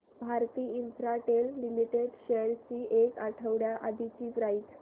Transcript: Bharti Infratel limited shares ची एक आठवड्या आधीची प्राइस